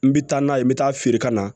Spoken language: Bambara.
N bɛ taa n'a ye n bɛ taa feere ka na